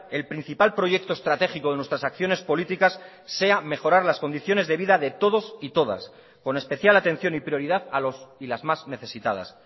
el principal proyecto estratégico de nuestras acciones políticas sea mejorar las condiciones de vida de todos y todas con especial atención y prioridad a los y las más necesitadas